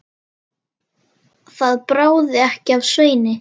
Það bráði ekki af Sveini.